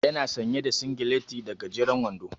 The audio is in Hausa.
Ya na sanye da singileti da gajeren wando.